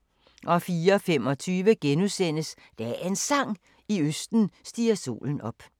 04:25: Dagens Sang: I østen stiger solen op *